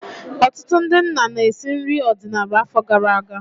Ọtụtụ ndị nna na-esi nri ọdịnala afọ gara aga.